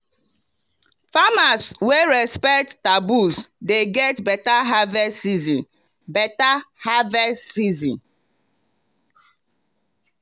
farmers wey respect taboos dey get better harvest season. better harvest season.